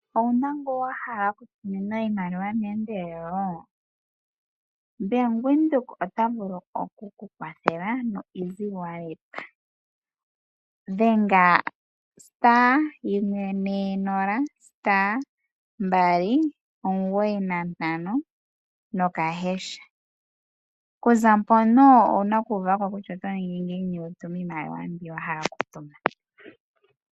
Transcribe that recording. Owuna ngu wa hala oku tumina iimaliwa meendelelo, Bank Windhoek ota vulu oku kwathela noEasy Wallet. Dhenga *140*295#, okuza mpono owuna oku uva ko kutya oto ningi ngiini wu tume iimaliwa mbi wa hala oku tuma.